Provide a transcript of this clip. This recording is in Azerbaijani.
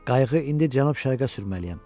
Qayığı indi cənub-şərqə sürməliyəm.